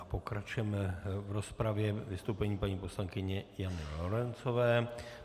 A pokračujeme v rozpravě vystoupením paní poslankyně Jany Lorencové.